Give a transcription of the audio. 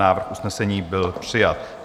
Návrh usnesení byl přijat.